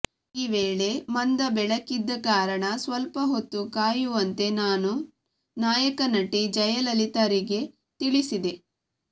ಈ ವೇಳೆ ಮಂದ ಬೆಳಕಿದ್ದ ಕಾರಣ ಸ್ವಲ್ಪ ಹೊತ್ತು ಕಾಯುವಂತೆ ನಾನು ನಾಯಕ ನಟಿ ಜಯಲಲಿತಾರಿಗೆ ತಿಳಿಸಿದೆ